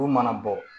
Olu mana bɔ